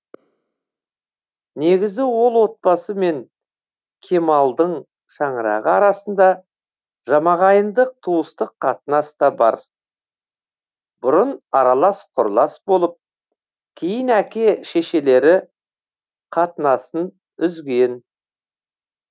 негізі ол отбасы мен кемалдың шаңырағы арасында жамағайындық туыстық қатынас та бар бұрын аралас құралас болып кейін әке шешелері қатынасын үзген